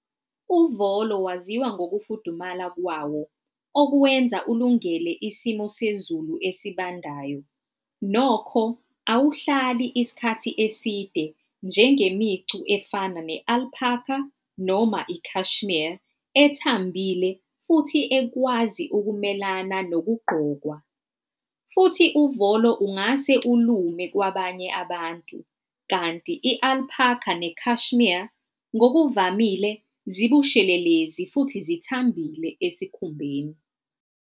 Uvolo waziwa ngokufudumala kwawo okuwenza ulungele isimo sezulu esibandayo. Nokho awuhlali isikhathi eside njengemicu efana ne-alpaca noma i-cashmere ethambile futhi ekwazi ukumelana nokugqokwa. Futhi uvolo ungase ulume kwabanye abantu, kanti i-alpaca ne-cashmere ngokuvamile zibushelelezi futhi zithambile esikhumbeni.